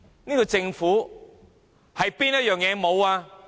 這個政府欠缺甚麼？